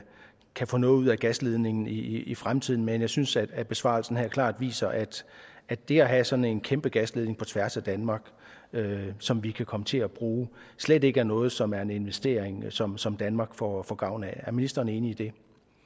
kan få noget ud af gasledningen i fremtiden men jeg synes at besvarelsen her klart viser at at det at have sådan en kæmpe gasledning på tværs af danmark som vi kan komme til at bruge slet ikke er noget som er en investering som som danmark får får gavn af er ministeren enig i det